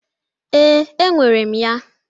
Ee, e nyere m ya.